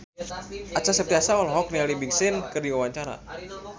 Acha Septriasa olohok ningali Big Sean keur diwawancara